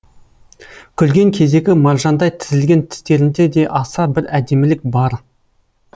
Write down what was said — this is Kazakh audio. күлген кездегі маржандай тізілген тістерінде де аса бір әдемілік бар